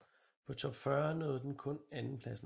På Top 40 nåede den kun andenpladsen